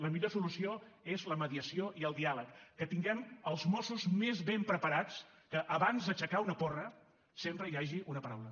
la millor solució és la mediació i el diàleg que tinguem els mossos més ben preparats que abans d’aixecar una porra sempre hi hagi una paraula